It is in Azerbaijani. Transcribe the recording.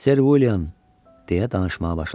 Ser William, deyə danışmağa başladı.